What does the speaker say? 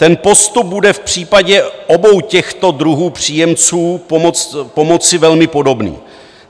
Ten postup bude v případě obou těchto druhů příjemců pomoci velmi podobný.